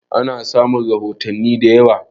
An samu rahotanni da yawa